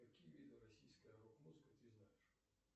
какие виды российской рок музыки ты знаешь